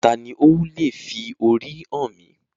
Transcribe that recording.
Taani ó leè fi orí hàn mí?